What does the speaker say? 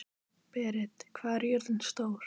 Berit, hvað er jörðin stór?